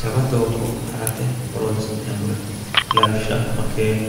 jawa doogo harate horonsi'neemoreeti lawishshaho makeenu.